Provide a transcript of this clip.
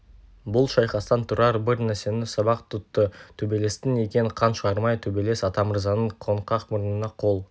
бұл шайқастан тұрар бір нәрсені сабақ тұтты төбелестің екен қан шығармай төбелес атамырзаның қоңқақ мұрнына қол